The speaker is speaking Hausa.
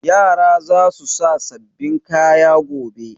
Yara za su sa sababbin kaya gobe.